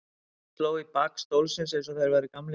Pabbi sló í bak stólsins eins og þeir væru gamlir félagar.